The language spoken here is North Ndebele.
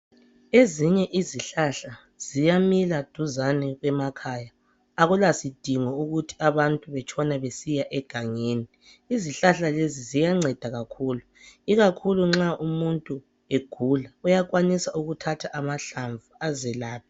Ezinye izihlahla ziyamila duzane kwemakhaya akulasidingo sokubana abantu batshone besiya egangeni. Izihlahla lezi ziyanceda kakhulu ikakhulu nxa umuntu egula uyakwanisa ukuthatha amahlamvu azelaphe.